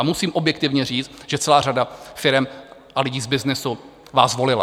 A musím objektivně říct, že celá řada firem a lidí z byznysu vás volila.